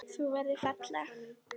Þú verður falleg.